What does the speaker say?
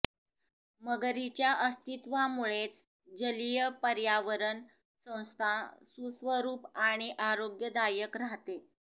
मगरींच्या अस्त्विवामुळेच जलीय पर्यावरण संस्था सुस्वरुप आणि आरोग्यदायक राहते